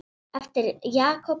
eftir Jakob Smára.